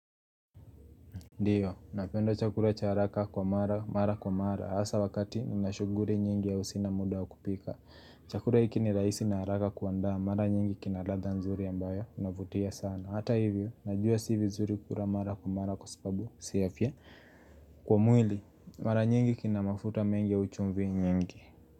Ndiyo, napendo chakula cha haraka kwa mara, mara kwa mara, hasa wakati nina shughuli nyingi ya au sina muda wa kupika. Chakula hiki ni raisi na haraka kuanda, mara nyingi kina radha nzuri ambayo unavutia sana. Hata hivyo, najua si vizuri kula mara kwa mara kwa mara kwa sababu si afya. Kwa mwili, mara nyingi kina mafuta mengi au chumvi nyingi.